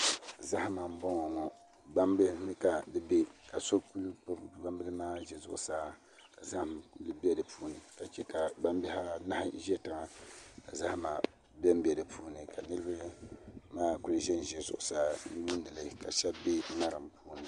Zahama n bɔŋɔ ŋɔ gbambihi ni ka di bɛ ka so gbubi gbambihi maa ʒɛ zuɣusaa ka zaham bɛ di puuni ka chɛ ka gbambihi anahi ʒɛ tiŋa ka zahama bɛnbɛ di puuni ka niraba maa ʒɛnʒɛ zuɣusaa n lihirili ka shab bɛ ŋarim ni